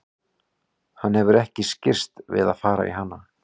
Hann hefur ekki skirrst við að fara í hana.